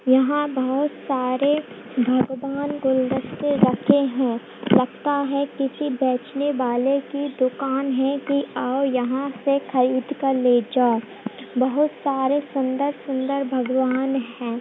यहाँ बहुत सारे भगवान गुलदस्ता रखे हैं लगता है किसी बेचने वाले की दुकान है की आओ यहाँ से खरीद कर ले जाओ | बहुत सारे सुन्दर सुन्दर भगवान हैं |